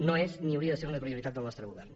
no és ni hauria de ser una prioritat del nostre govern